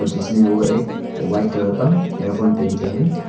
जिसने वो एक व्हाईट कलर का ईयरफोन पहनके है।